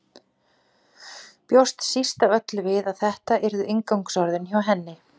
Bjóst síst af öllu við að þetta yrðu inngangsorðin hjá henni.